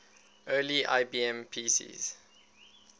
early ibm pcs